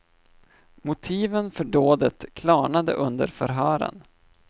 Motiven för dådet klarnade under förhören.